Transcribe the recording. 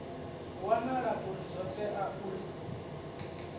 wanala uri zwo tea uri